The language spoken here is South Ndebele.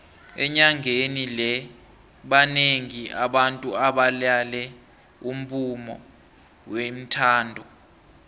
enyangeni le banengi abantu abalale umbumo wethando